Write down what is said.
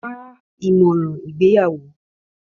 Wá ìmọ̀ràn ìgbéyàwó.